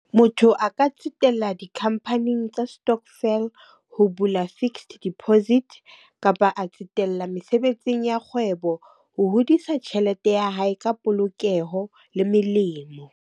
Motho a ka tsetela dikhampaning tsa stockvel, ho bula fixed deposit. Kapa a tsetela mesebetsing ya kgwebo, ho hodisa tjhelete ya hae ka polokeho le melemo.